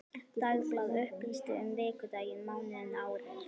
Dagblað upplýsti um vikudaginn, mánuðinn, árið.